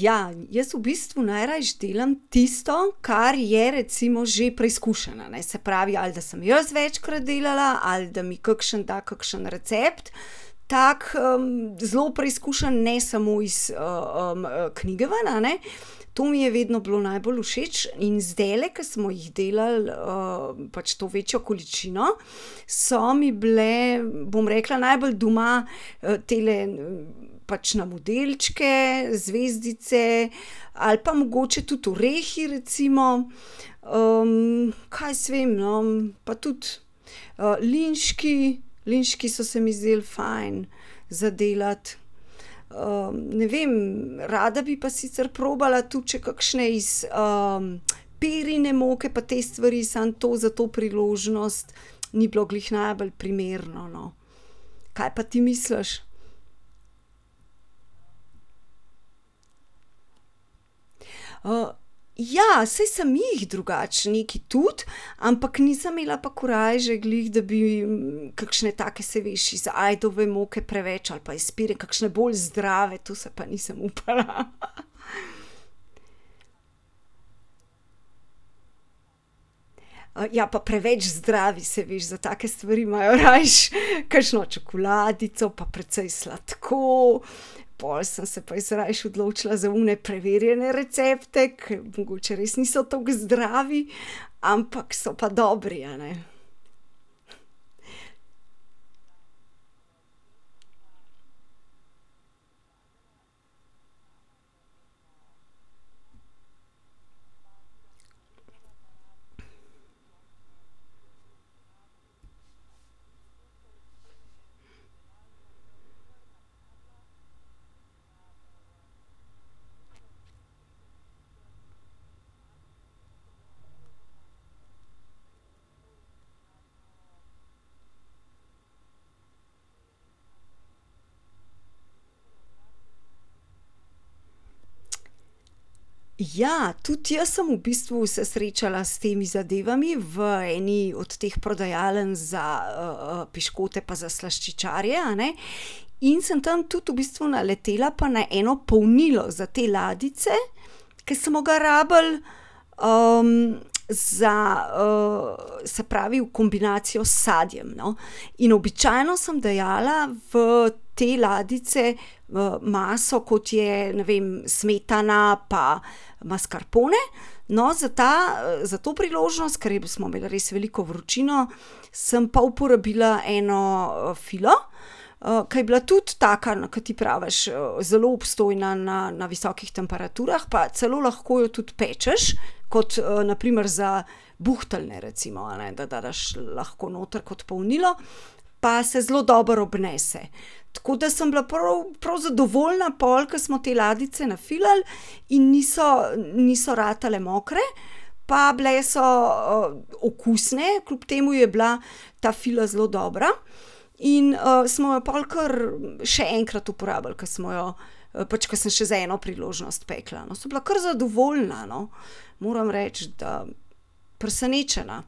ja, jaz v bistvu najrajši delam tisto, kar je recimo že preizkušeno, a ne, se pravi, ali da sem jaz večkrat delala ali da mi kakšen da kakšen recept tak, zelo preizkušen, ne samo iz, knjige ven, a ne. To mi je vedno bilo najbolj všeč in zdajle, ke smo jih delali, pač to večjo količino, so mi bile, bom rekla, najbolj doma, tele pač na modelčke zvezdice ali pa mogoče tudi orehi recimo. kaj jaz vem, no, pa tudi, linški, linški so se mi zdeli fajn za delati. ne vem, rada bi pa sicer probala tudi še kakšne iz, pirine moke pa teh stvari, samo to za to priložnost ni bilo glih najbolj primerno, no. Kaj pa ti misliš? ja, saj sem jih drugače, nekaj tudi, ampak nisem imela pa korajže glih, da bi kakšne take, saj veš, iz ajdove moke preveč ali pa iz pire, kakšne bolj zdrave, to se pa nisem upala . ja pa preveč zdravi, saj veš, za take stvari imajo rajši kakšno čokoladico pa precej sladko, pol sem se pa jaz raje odločila za one preverjene recepte, ke mogoče res niso tako zdravi, ampak so pa dobri, a ne. Ja, tudi jaz sem v bistvu se srečala s temi zadevami v eni od teh prodajaln za, piškote pa za slaščičarje, a ne. In sem tam v bistvu tudi naletela pa na eno polnilo za te ladjice, ke smo ga rabili, za, se pravi, v kombinacijo s sadjem, no. In običajno sem dajala v te ladjice v maso, kot je, ne vem, smetana pa maskarpone. No, za ta, za to priložnost, kar je bilo, smo imeli res veliko vročino, sem pa uporabila eno, filo, ke je bila tudi taka, no, ke ti praviš, zelo obstojna na, na visokih temperaturah pa celo lahko jo tudi pečeš, kot, na primer za buhteljne recimo, a ne, da dadaš lahko noter kot polnilo, pa se zelo dobro obnese. Tako da sem bila, prav, prav zadovoljna pol, ke smo te ladjice nafilali in niso, niso ratale mokre pa bile so, okusne, kljub temu je bila ta fila zelo dobra, in, smo jo pol kar še enkrat uporabili, ke smo jo, pač ke sem še za eno priložnost pekla, no, sem bila kar zadovoljna, no, moram reči, da presenečena.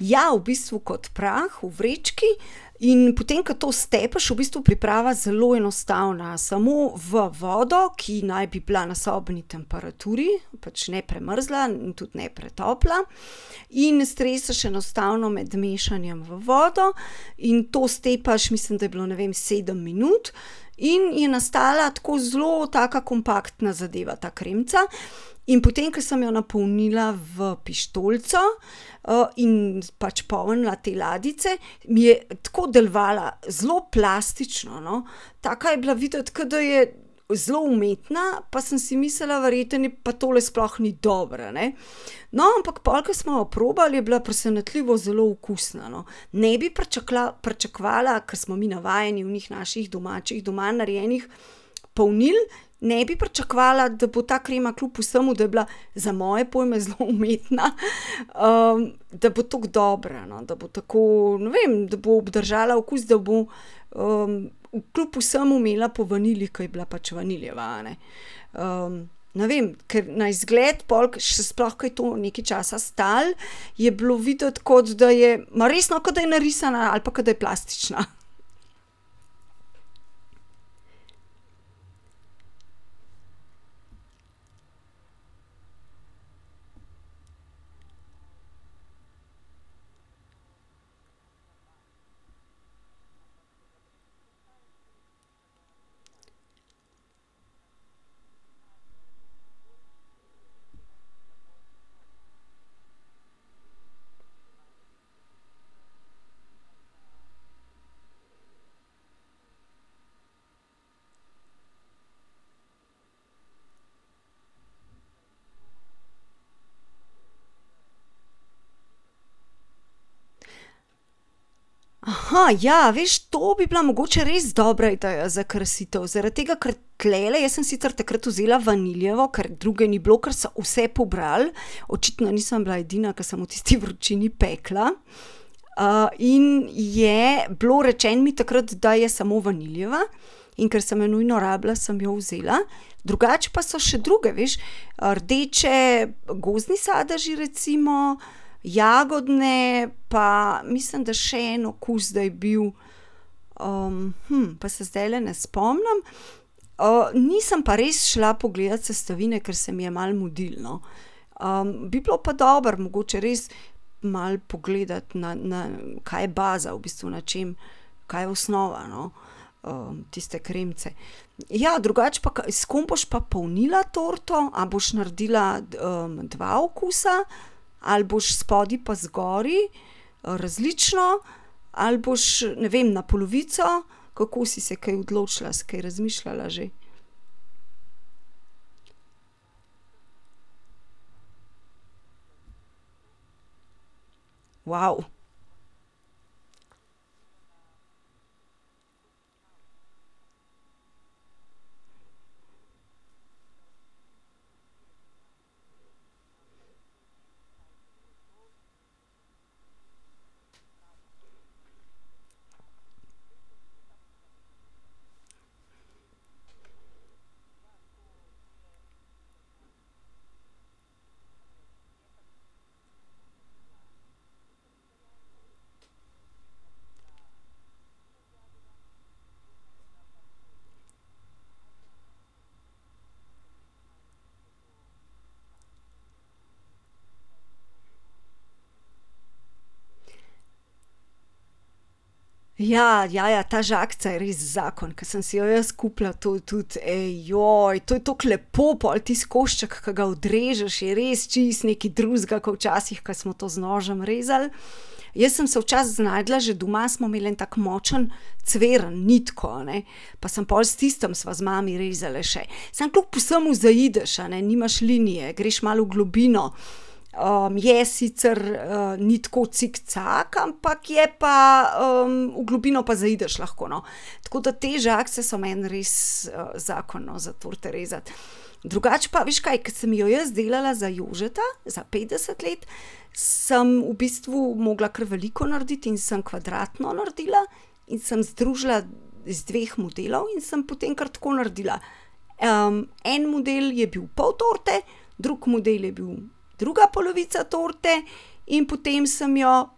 Ja, v bistvu kot prah v vrečki in potem, ke to stepeš, v bistvu priprava zelo enostavna, samo v vodo, ki naj bi bila na sobni temperaturi, pač ne premrzla in tudi ne pretopla. In streseš enostavno med mešanjem v vodo in to stepaš, mislim, da je bilo, ne vem sedem minut, in je nastala tako zelo taka kompaktna zadeva ta kremica in potem, ke sem jo napolnila v pištolico, in pač polnila te ladjice, mi je tako delovala zelo plastično, no. Taka je bila videti, ke da je zelo umetna, pa sem si mislila, verjetno je pa tole sploh ni dobro, a ne. No, ampak pol, ke smo jo probali, je bila presenetljivo zelo okusna, no, ne bi pričakovala, ke smo mi navajeni onih naših domačih, doma narejenih polnil, ne bi pričakovala, da bo ta krema kljub vsemu, da je bila za moje pojme zelo umetna, da bo tako dobra, no, da bo tako, ne vem, da bo obdržala okus, da bo, kljub vsemu imela po vanilji, ke je bila pač vanilijeva, a ne. ne vem, ker na izgled, pol, ke še sploh, ker je to nekaj časa stalo, je bilo videti, kot da je, ma res, no, kot da je narisana ali pa kot da je plastična. ja, veš, to bi bila mogoče res dobra ideja za krasitev zaradi tega, ker tulele, jaz sem sicer takrat vzela vanilijevo, ker druge ni bilo, ker so vse pobrali. Očitno nisem bila edina, ke sem v tisti vročini pekla. in je bilo rečeno mi takrat, da je samo vanilijeva, in ker sem jo nujno rabila, sem jo vzela, drugače pa so še druge, veš, rdeče, gozdni sadeži, recimo, jagodne, pa mislim, da še en okus, da je bil. pa se zdajle ne spomnim. nisem pa res šla pogledat sestavine, ker se mi je malo mudilo, no. bi bilo pa dobro mogoče res, malo pogledati na, na, kaj je baza v bistvu, na čem, kaj je osnova, no, tiste kremice. Ja drugače pa s kom boš pa polnila torto, a boš naredila, dva okusa ali boš spodaj pa zgoraj, različno ali boš, ne vem, na polovico, kako si se kaj odločila, si kaj razmišljala že? Ja, ja, ja ta žagica je res zakon, ke sem si jo jaz kupila, to je tudi, ej, to je toliko lepo pol tisti košček, ke ga odrežeš, je res čisto nekaj drugega kot včasih, ke smo to z nožem rezali. Jaz sem se včasih znašla, že doma smo imeli en tak močen cviren, nitko, a ne, pa sem pol s tistim sva z mami rezali še, samo kljub vsemu zaideš, a ne, nimaš linije, greš malo v globino. je sicer, ni tako cikcak, ampak je pa, v globino pa zaideš lahko, no. Tako da te žagice so meni res, zakon, no, za torte rezati. Drugače pa, veš kaj, ke sem jo jaz delala za Jožeta, za petdeset let, sem v bistvu mogla kar veliko narediti in sem kvadratno naredila. In sem združila iz dveh modelov in sem potem kar tako naredila. en model je bil pol torte, drug model je bil, druga polovica torte, in potem sem jo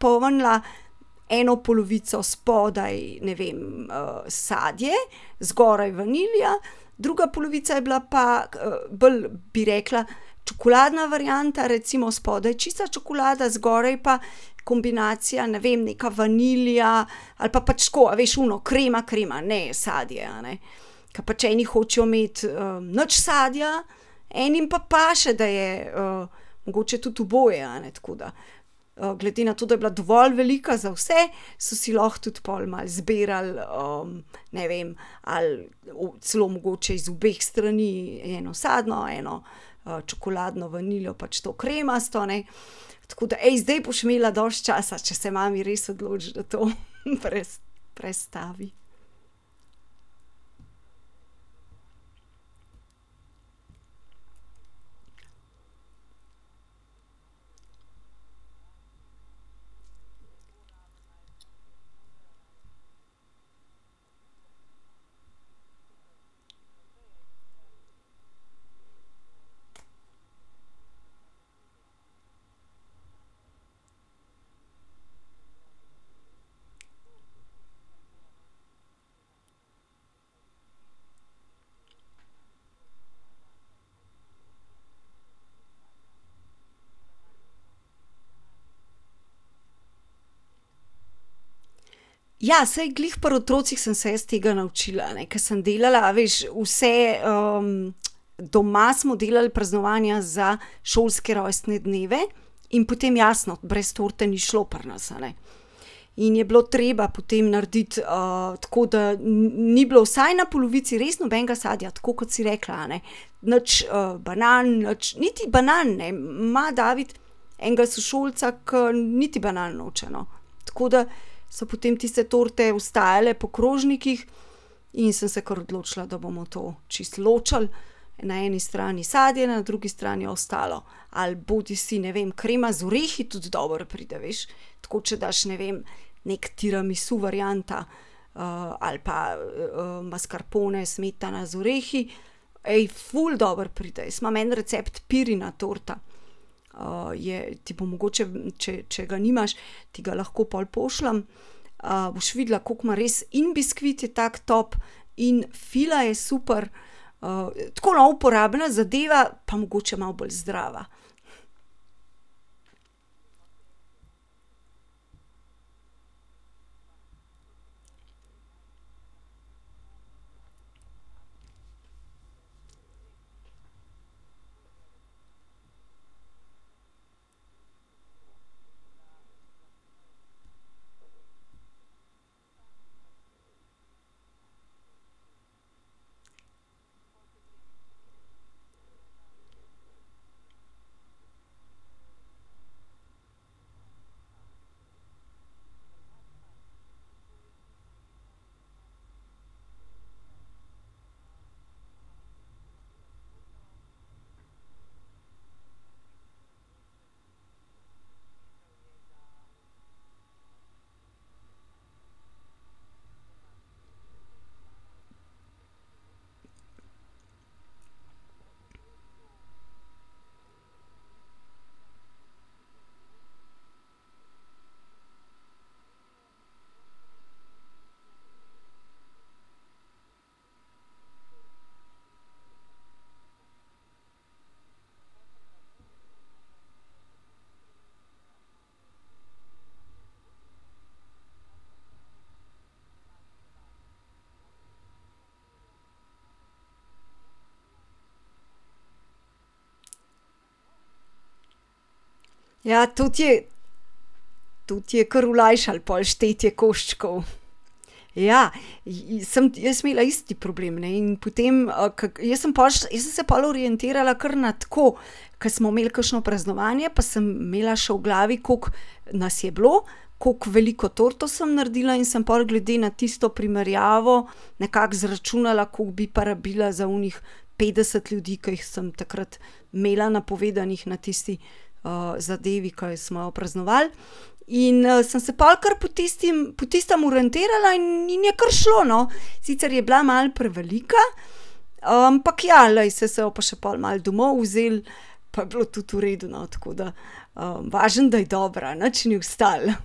polnila eno polovico spodaj, ne vem, sadje, zgoraj vanilija, druga polovica je bila pa, bolj, bi rekla, čokoladna varianta, recimo spodaj čista čokolada, zgoraj pa kombinacija, ne vem, neka vanilija ali pa pač tako, a veš, ono krema, krema, ne sadje, a ne. Ke pač eni hočejo imeti, nič sadja, enim pa paše, da je, mogoče tudi oboje, a ne, tako da, glede na to, da je bila dovolj velika za vse, so si lahko tudi pol malo zbirali, ne vem, ali celo mogoče iz obeh strani, eno sadno, eno, čokoladno vanilijo, to kremasto, a ne. Tako da, zdaj boš imela dosti časa, če se mami res odloči, da to prestavi. Ja, saj glih pri otrocih sem se jaz tega naučila, a ne, ke sem delala, a veš, vse, doma smo delali praznovanja za šolske rojstne dneve in potem jasno brez torte ni šlo pri nas, a ne, in je bilo treba potem narediti, tako da ni, ni bilo vsaj na polovici res nobenega sadja, tako kot si rekla, a ne, nič, banan, nič, niti banan, ne, ima David enega sošolca, ke niti banan noče, no. Tako da so potem tiste torte ostajale po krožnikih in sem se kar odločila, da bomo to čisto ločili, na eni strani sadje, na drugi strani ostalo. Ali bodisi, ne vem, krema z orehi tudi dobro pride, veš, tako če daš, ne vem, neka tiramisu varianta, ali pa, maskarpone, smetana z orehi ful dobro pride. Jaz imam en recept pirina torta. je ti bo mogoče, če, če ga nimaš, ti ga lahko pol pošljem. boš videla, kako ima res in biskvit je tako top in fila je super. tako, no, uporabna zadeva pa mogoče malo bolj zdrava. Ja, to ti je, to ti je kar olajšalo pol štetje koščkov. Ja, sem jaz imela isti problem in potem, ke, ke jaz sem po šla, jaz sem se pol orientirala kar na tako, ke smo imeli kakšno praznovanje pa sem imela še v glavi, koliko nas je bilo, koliko veliko torto sem naredila in sem pol glede na tisto primerjavo nekako izračunala, kako bi pa rabila za onih petdeset ljudi, ke jih sem takrat imela napovedanih na tisti, zadevi, ke smo jo praznovali. In, sem se pol kar po tistem, po tistem orientirala in je kar šlo, no, sicer je bila malo prevelika, ampak, ja, glej, saj se jo bo pa pol še malo domov vzelo pa je bilo tudi v redu, no, tako da, važno, da je dobra, nič ni ostalo.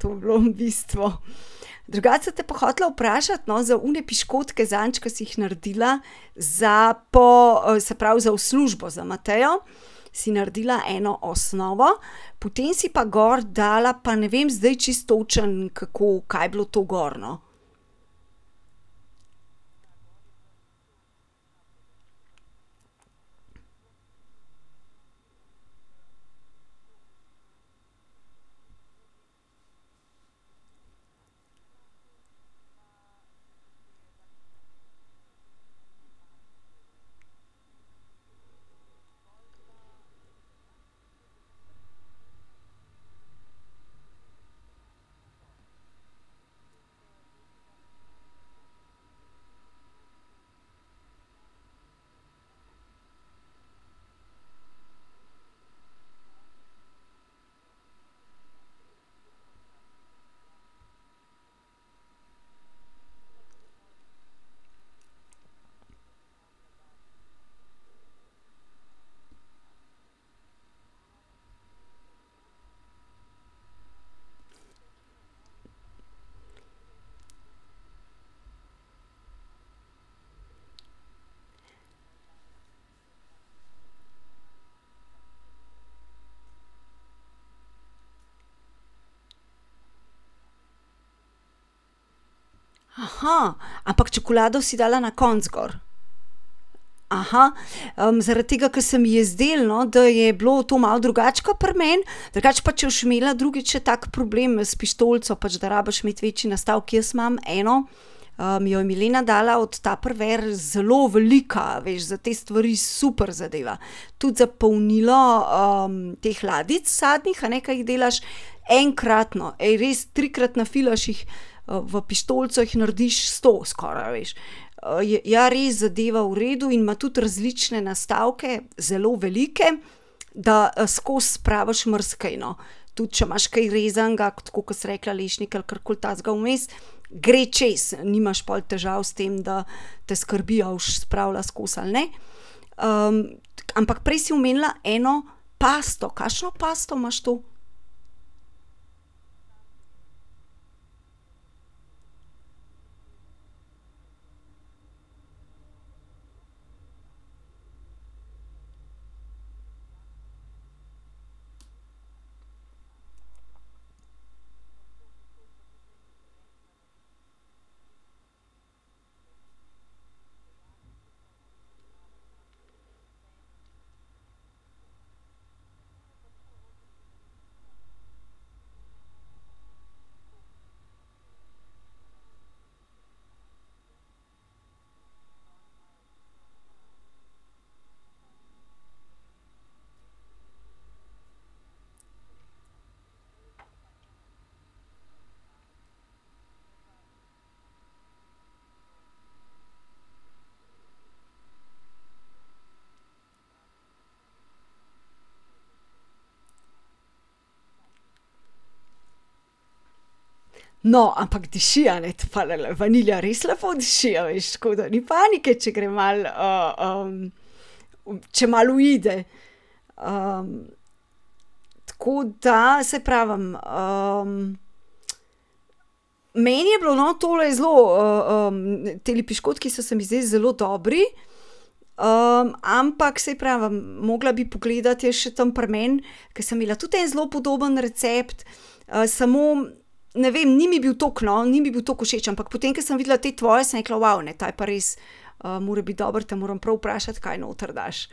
To je bilo bistvo. Drugače sem te pa hotela vprašati, no, za one piškotke zadnjič, ke si jih naredila, za po, se pravi, za v službo za Matejo si naredila eno osnovo potem si pa gor dala pa, ne vem zdaj čisto točno, kako, kaj je bilo to gor, no. ampak čokolado si dala na koncu gor? zaradi tega, ker se mi je zdelo, no, da je bilo to malo drugače ke pri meni, drugače pa če boš imela drugič še tak problem s pištolico, pač da rabiš imeti večji nastavek. Jaz imam eno, jo je Milena dala od Tupperware, zelo velika, a veš, za te stvari super zadeva, tudi za polnilo, teh ladjic sadnih, a ne, ki jih delaš enkratno, res, trikrat nafilaš jih v pištolico, jih narediš sto, skoraj, a veš. ja res zadeva v redu in ima tudi različne nastavke zelo velike. Da skozi spraviš marsikaj, no, tudi če imaš kaj rezanega, tako kot si rekla, lešnike ali karkoli takega vmes, gre čez, nimaš pol težav s tem, da te skrbi, a boš spravila skozi ali ne. ampak prej si omenila eno pasto, kakšno pasto imaš to? No, ampak diši, a ne, vanilija res lepo diši, a veš, tako da ni panike, če gre malo, če malo uide. tako da saj prvem, meni je bilo, no, tole zelo, tile piškotki so se mi zdeli zelo dobri. ampak saj pravim, mogla bi pogledati jaz še tam pri meni, ke sem imela tudi en zelo podoben recept, samo ne vem, ni mi bil toliko, no, ni mi bilo toliko všeč, ampak potem, ke sem videla te tvoje, sem rekla, ne, ta je pa res, mora biti dober, te moram prav vprašati, kaj noter daš,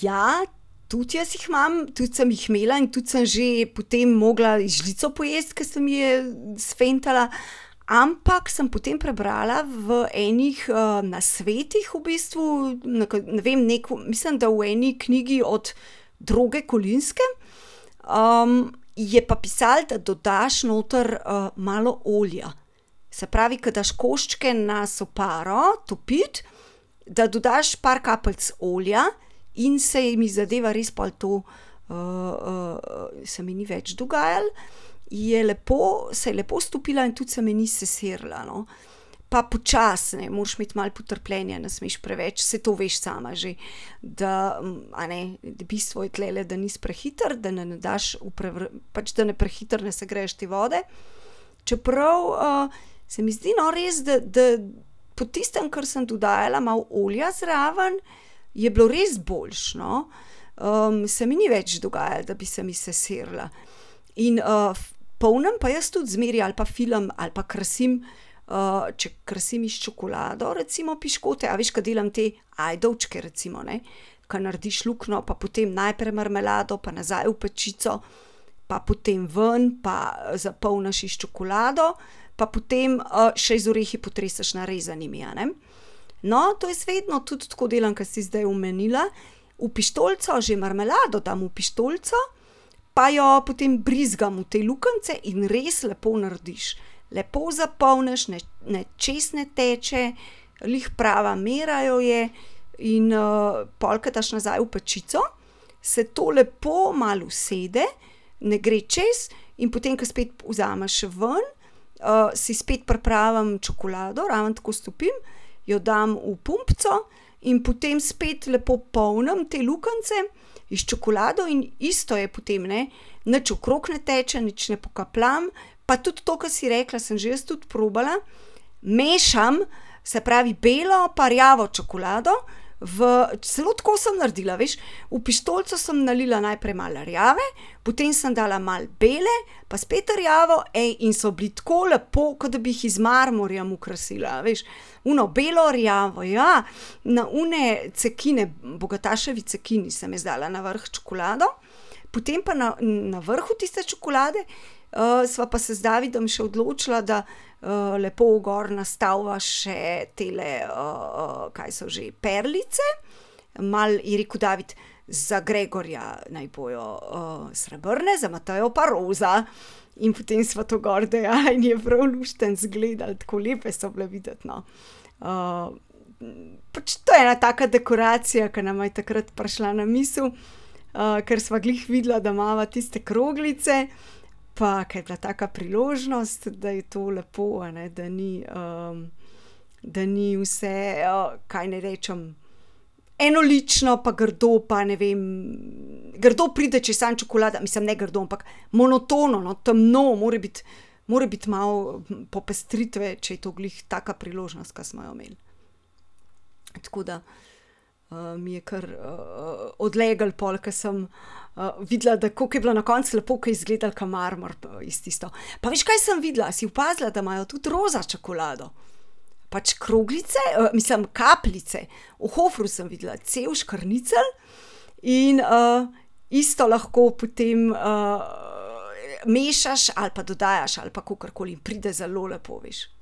ja tudi jaz jih imam, tudi sem jih imela in tudi sem že potem mogla jih z žlico pojesti, ker se mi je sfentala, ampak sem potem prebrala v enih, nasvetih v bistvu, ne vem, neko, mislim, da v nekaj knjigi od Droge Kolinske, je pa pisalo, da dodaš noter, malo olja, se pravi, ke daš koščke na soparo topiti, da dodaš par kapljic olja in se jim zadeva pol res to, se mi ni več dogajalo. Je lepo, se je lepo stopila in tudi se mi ni sesirila, no. Pa počasi, moraš imeti malo potrpljenja, ne smeš preveč, saj to veš sama že, da, a ne, da bistvo je tulele, da nisi prehiter, da ne daš v pač da ne prehitro ne segreješ te vode. Čeprav, se mi zdi, no, res, da, da po tistem, ker sem dodala malo olja zraven, je bilo res boljše, no. se mi ni več dogajalo, da bi se mi sesirila. In, polnim pa jaz tudi zmeraj ali pa filam ali pa krasim, če krasim s čokolado, recimo piškote, a veš, ke delam te ajdovčke recimo, ne. Ke narediš luknjo pa potem najprej marmelado pa nazaj v pečico, pa potem ven pa, zapolniš s čokolado, pa potem, še z orehi potreseš narezanimi, a ne. No, to jaz vedno tudi tako delam, ke si zdaj omenila. V pištolico že marmelado dam v pištolico. Pa jo potem brizgam v te luknjice in res lepo narediš, lepo zapolniš, ne, ne, čez ne teče, glih prava miru jo je in pol, ke daš nazaj v pečico, se to lepo malo usede, ne gre čez in potem, ke spet vzameš ven, si spet pripravim čokolado, ravno tako stopim, jo dam v pumpico in potem spet lepo polnim te luknjice s čokolado in isto je potem, ne. Nič okrog ne teče, nič ne pokapljam pa tudi to, ke si rekla, sem že jaz tudi probala. Mešam, se pravi, belo pa rjavo čokolado v, celo tako sem naredila, veš, v pištolico sem nalila najprej malo rjave, potem sem dala malo bele, pa spet rjavo, in so bili tako lepo, ke da bi jih z marmorjem okrasila, a veš. Ono belorjavo, ja. Na one cekine, bogataševi cekini, sem jaz dala na vrh čokolado. Potem pa na, vrhu tiste čokolade, sva pa se z Davidom še odločila, da, lepo gor nastaviva še tele, kaj so že, perlice. Malo je rekel David: "Za Gregorja naj bojo, srebrne za Matejo pa roza." In potem sva to gor dajala in je prav luštno izgledalo, tako lepe so bile videti, no. pač to je ena taka dekoracija, ke nama je takrat prišla na misel. ker sva glih videla, da imava tiste kroglice, pa ke je bila taka priložnost, da je to lepo, a ne, da ni, da ni vse, kaj naj rečem, enolično pa grdo pa, ne vem, grdo pride, če je samo čokolada, mislim, ne grdo, ampak monotono, no, temno, mora biti, mora biti malo popestritve, če je to glih taka priložnost, ke smo jo imeli. Tako da, je kar, odleglo pol, ke sem, videla, da kako je bilo na koncu lepo, ke je izgledalo ke marmor iz tisto. Pa veš, kaj sem videla, a si opazila, da imajo tudi roza čokolado? Pač kroglice, mislim, kapljice, v Hoferju sem videla, cel škrnicelj in, isto lahko potem, mešaš ali pa dodajaš ali pa kakorkoli pride zelo lepo, veš.